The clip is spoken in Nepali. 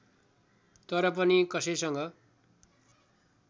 तर पनि कसैसँग